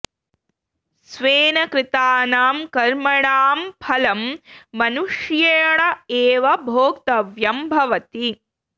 स्वेन कृतानां कर्मणां फलं मनुष्येण एव भोक्तव्यं भवति